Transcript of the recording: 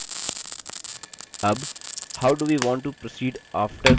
अब how do we want to proceed after creating the form